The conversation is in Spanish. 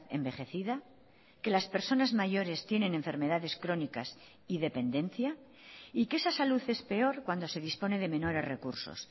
envejecida que las personas mayores tienen enfermedades crónicas y dependencia y que esa salud es peor cuando se dispone de menores recursos